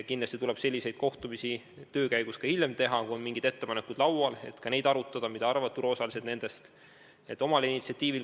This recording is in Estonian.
Kindlasti tuleb selliseid kohtumisi töö käigus teha ka hiljem, kui laual on mingid ettepanekud, et ka neid arutada ja kuulata, mida turuosalised nendest arvavad.